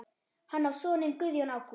Hann á soninn Guðjón Ágúst.